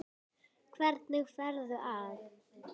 Það fer honum líka vel.